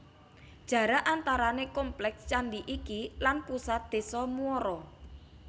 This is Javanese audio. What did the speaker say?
Jarak antarané kompleks candi iki lan pusat désa Muara